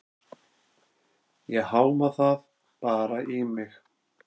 Ég háma það bara í mig.